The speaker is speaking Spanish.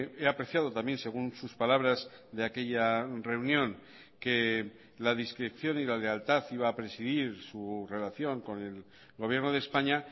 he apreciado también según sus palabras de aquella reunión que la discreción y la lealtad iba a presidir su relación con el gobierno de españa